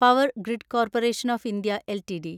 power grid corporation of India LTD